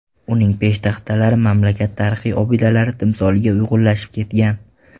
Uning peshtaxtalari mamlakat tarixiy obidalari timsoliga uyg‘unlashib ketgan.